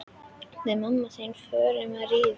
Við mamma þín förum að rífast.